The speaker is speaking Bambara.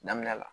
Daminɛ la